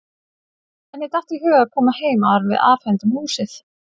Henni datt í hug að koma heim áður en við afhendum húsið.